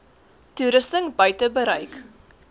toerusting buite bereik